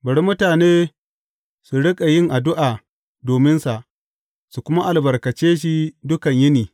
Bari mutane su riƙa yin addu’a dominsa su kuma albarkace shi dukan yini.